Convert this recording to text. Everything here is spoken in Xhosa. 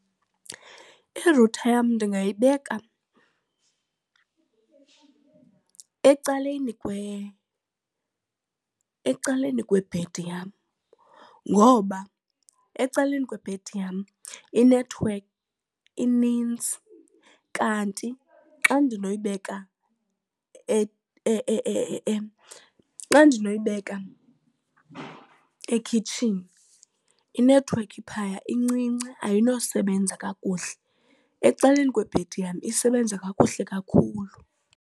Irutha yam ndingayibeka ecaleni ecaleni kwebhedi yam ngoba ecaleni kwebhedi yam inethwekhi inintsi, kanti xa ndinoyibeka xa ndingayibeka ekhitshini inethiwekhi phaya incinci ayinosebenza kakuhle. Ecaleni kwebhedi yam isebenza kakuhle kakhulu.